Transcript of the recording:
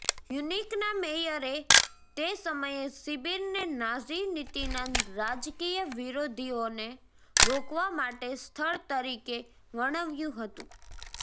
મ્યુનિકના મેયરએ તે સમયે શિબિરને નાઝી નીતિના રાજકીય વિરોધીઓને રોકવા માટે સ્થળ તરીકે વર્ણવ્યું હતું